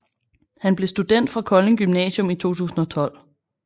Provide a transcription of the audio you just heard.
Han blev student fra Kolding Gymnasium i 2012